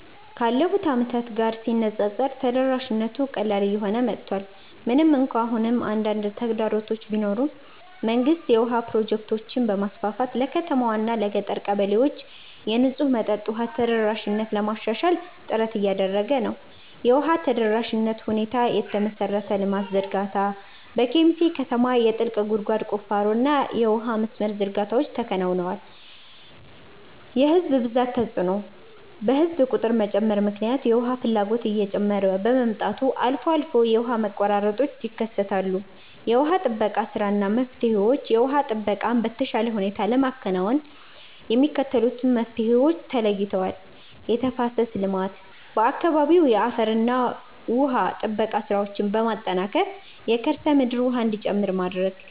ካለፉት ዓመታት ጋር ሲነፃፀር ተደራሽነቱ ቀላል እየሆነ መጥቷል። ምንም እንኳን አሁንም አንዳንድ ተግዳሮቶች ቢኖሩም፣ መንግስት የውሃ ፕሮጀክቶችን በማስፋፋት ለከተማዋና ለገጠር ቀበሌዎች የንጹህ መጠጥ ውሃ ተደራሽነትን ለማሻሻል ጥረት እያደረገ ነው። የውሃ ተደራሽነት ሁኔታየመሠረተ ልማት ዝርጋታ፦ በኬሚሴ ከተማ የጥልቅ ጉድጓድ ቁፋሮና የውሃ መስመር ዝርጋታዎች ተከናውነዋል። የሕዝብ ብዛት ተጽዕኖ፦ በሕዝብ ቁጥር መጨመር ምክንያት የውሃ ፍላጎት እየጨመረ በመምጣቱ አልፎ አልፎ የውሃ መቆራረጦች ይከሰታሉ። የውሃ ጥበቃ ሥራና መፍትሄዎችየውሃ ጥበቃን በተሻለ ሁኔታ ለማከናወን የሚከተሉት መፍትሄዎች ተለይተዋል፦ የተፋሰስ ልማት፦ በአካባቢው የአፈርና ውሃ ጥበቃ ሥራዎችን በማጠናከር የከርሰ ምድር ውሃ እንዲጨምር ማድረግ።